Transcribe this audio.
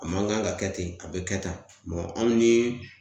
A man kan ka kɛ ten a bɛ kɛ tan hali ni